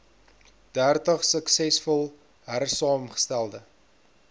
dertig suksesvol hersaamgestelde